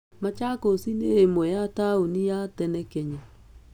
Machakos nĩ ĩmwe ya taũni ya tene Kenya.